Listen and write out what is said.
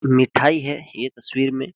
मिठाई है ये तस्वीर में --